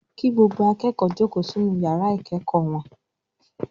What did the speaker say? "Kí gbogbo akẹ́kọ̀ọ́ jókòó sínú àwọn ìyàrá ìkẹ́kọ̀ọ́!" Olùkọ́ní náà pariwo.